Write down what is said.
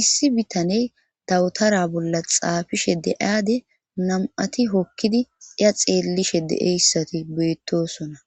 issi bitaney dawutara bolla xaafishe de'aade nam'ati hokkidi iya xeellishe deeyssati beettosona.